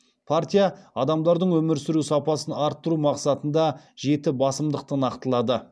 партия адамдардың өмір сүру сапасын арттыру мақсатында жеті басымдықты нақтылады